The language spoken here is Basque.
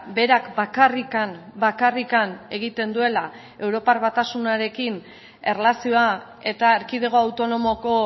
berak bakarrik bakarrik egiten duela europar batasunarekin erlazioa eta erkidego autonomoko